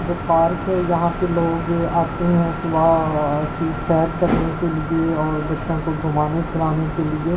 जो पार्क है यहां पर लोग आते हैं सुबह की सैर करने के लिए और बच्चों को घुमाने फिराने के लिए--